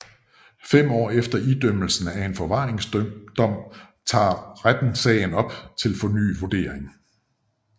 Fem år efter idømmelsen af en forvaringsdom tager retten sagen op til fornyet vurdering